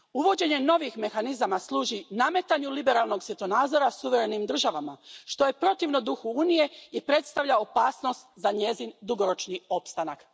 Uvođenje novih mehanizama služi nametanju liberalnog svjetonazora suverenim državama, što je protivno duhu Unije i predstavlja opasnost za njezin dugoročni opstanak.